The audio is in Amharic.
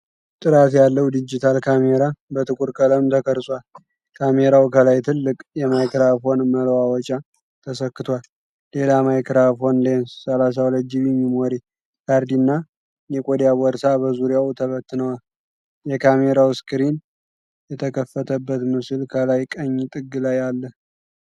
ጥራት ያለው ዲጂታል ካሜራ በጥቁር ቀለም ተቀርጿል። ካሜራው ከላይ ትልቅ የማይክራፎን መለዋወጫ ተሰክቷል፤ ሌላ ማይክራፎን፣ ሌንስ፣ 32 ጂቢ ሜሞሪ ካርድና የቆዳ ቦርሳ በዙሪያው ተበትነዋል። የካሜራው ስክሪን የተከፈተበት ምስል ከላይ ቀኝ ጥግ ላይ አለ።